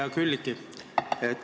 Hea Külliki!